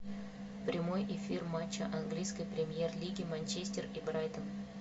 прямой эфир матча английской премьер лиги манчестер и брайтон